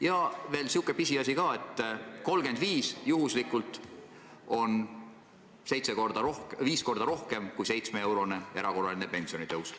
Ja veel selline pisiasi, et 35 eurot on juhtumisi viis korda rohkem kui 7-eurone erakorraline pensionitõus.